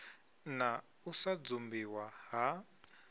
na u sa dzumbiwa ha